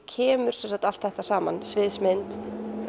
kemur sem sagt allt þetta saman sviðsmynd